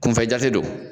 Kunfɛ jate don